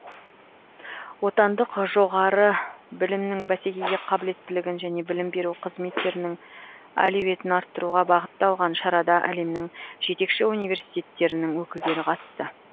отандық жоғары білімнің бәсекеге қабілеттілігін және білім беру қызметтерінің әлеуетін арттыруға бағытталған шарада әлемнің жетекші университеттерінің өкілдері қатысты